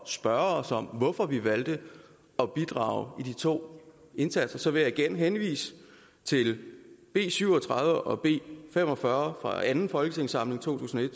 spørge os om hvorfor vi valgte at bidrage i de to indsatser vil jeg igen henvise til b syv og tredive og b fem og fyrre fra anden folketingssamling to tusind og